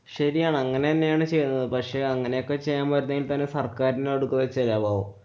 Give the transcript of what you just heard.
ശരിയാണ്. അങ്ങനെ തന്നെയാണ് ചെയ്യേണ്ടത്. പക്ഷെ അങ്ങനെ ഒക്കെ ചെയ്യാന്‍ പറ്റുന്നെങ്കില്‍ ഇപ്പൊ സര്‍ക്കാരിനോട് കൊടുക്കൊക്കെ ചെയ്യാവോ?